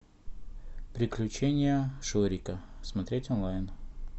приключения шурика смотреть онлайн